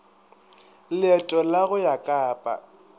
leeto la go ya kapa